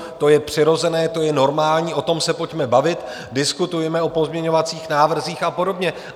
To je přirozené, to je normální, o tom se pojďme bavit, diskutujme o pozměňovacích návrzích a podobně.